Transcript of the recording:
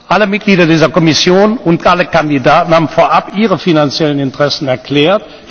Alle Mitglieder dieser Kommission und alle Kandidaten haben vorab ihre finanziellen Interessen erklärt.